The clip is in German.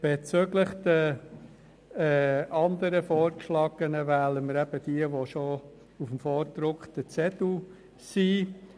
Bezüglich der anderen Vorgeschlagenen, wählen wir diejenigen, die auf dem vorgedruckten Zettel aufgeführt sind.